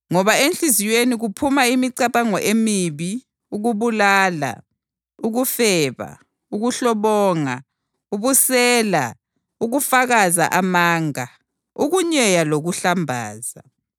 Ngoba enhliziyweni kuphuma imicabango emibi, ukubulala, ukufeba, ukuhlobonga, ubusela, ukufakaza amanga, ukunyeya lokuhlambaza.